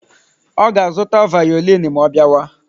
Ọ ga-azụta vaolini ma ọ bịawa?